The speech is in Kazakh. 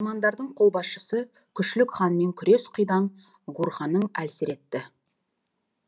наймандардың қолбасшысы күшлүк ханмен күрес қидан гурханын әлсіретті